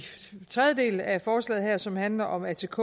tredje del af forslaget som handler om atk